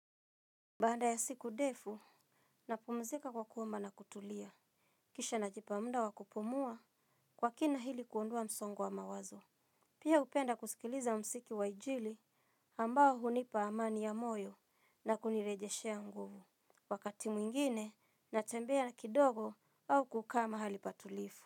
Baada ya siku ndefu, napumzika kwa kuomba na kutulia. Kisha najipa muda wa kupumua kwa kina iili kuondua msongo wa mawazo. Pia hupenda kusikiliza muziki wa injili ambao hunipa amani ya moyo na kunirejeshea nguvu. Wakati mwingine, natembea na kidogo au kukaa mahali patulivu.